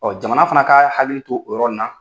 Jamana fana ka hakili to o yɔrɔ in na.